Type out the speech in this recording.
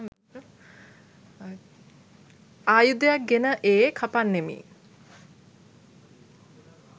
ආයුධයක් ගෙන ඒ කපන්නෙමි.